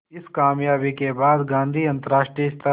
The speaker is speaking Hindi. इस क़ामयाबी के बाद गांधी अंतरराष्ट्रीय स्तर